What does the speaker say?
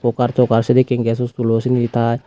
par toka sedeken ges iskulo sindi tai.